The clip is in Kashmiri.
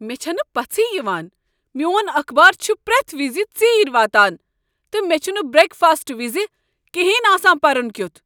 مےٚ چھنہٕ پژھٕے یوان! میون اخبار چھ پریتھ وزِ ژیرۍ واتان، تہٕ مےٚ چھنہٕ بریک فاسٹہٕ وز کِہنۍ آسان پرُن کیُتھ۔